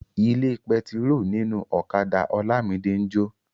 Ilé pẹtiró ninu ọ̀kadà Olamide n jo.